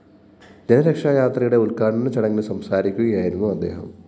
ജനരക്ഷാ യാത്രയുടെ ഉദ്ഘാടനച്ചചടങ്ങില്‍ സംസാരിക്കുകയായിരുന്നു അദ്ദേഹം